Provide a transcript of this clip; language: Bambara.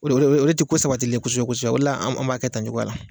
O de o de o de ti ko sabatilen ye kosɛbɛ-kosɛbɛ o de la an an b'a kɛ tan cogoya la.